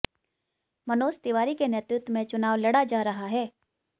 मनोज तिवारी के नेतृत्व में चुनाव लड़ा जा रहा है